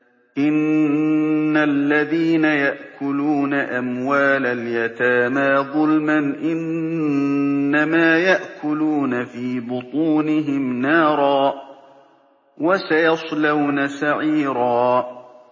إِنَّ الَّذِينَ يَأْكُلُونَ أَمْوَالَ الْيَتَامَىٰ ظُلْمًا إِنَّمَا يَأْكُلُونَ فِي بُطُونِهِمْ نَارًا ۖ وَسَيَصْلَوْنَ سَعِيرًا